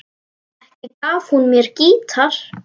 Ekki gaf hún mér gítar.